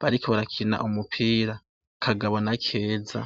bariko barakina umupira Kagabo na Keza.